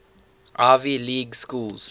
ivy league schools